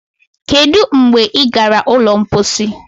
Kedụ mgbe ị gara ụlọ mposi